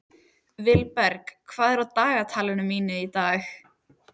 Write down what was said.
Vilberg, hvað er á dagatalinu mínu í dag?